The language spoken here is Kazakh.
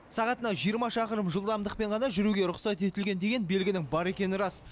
сағатына жиырма шақырым жылдамдықпен ғана жүруге рұқсат етілген деген белгінің бар екені рас